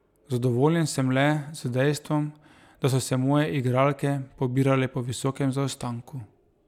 Zadovoljen sem le z dejstvom, da so se moje igralke pobirale po visokem zaostanku.